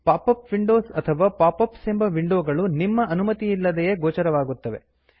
pop up windows ಅಥವಾ pop ups ಎಂಬ ವಿಂಡೋಗಳು ನಿಮ್ಮ ಅನುಮತಿಯಿಲ್ಲದೆಯೇ ಗೋಚರವಾಗುತ್ತವೆ